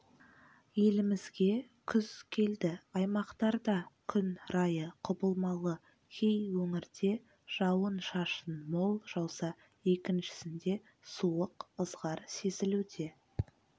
елімізге күз келді аймақтарда күн райы құбылмалы кей өңірде жауын-шашын мол жауса екіншісінде суық ызғар сезілуде